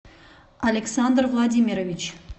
александр владимирович